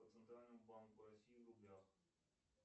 по центральному банку россии в рублях